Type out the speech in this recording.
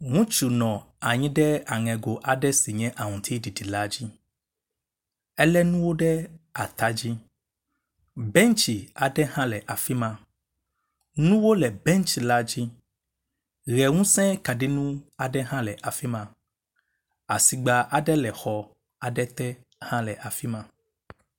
Ŋutsu nɔ anyi ɖe aŋego aɖe si nye aŋutiɖiɖi la dzi. Elé nuwo ɖe atadzi, bɛntsi aɖe hã le afi ma. Nuwo le bɛntsi la dzi, ʋe ŋusẽ kaɖiŋu aɖe hã le afi ma. Asigba aɖe le agbadɔ aɖe le xɔ aɖe te hã le afi ma.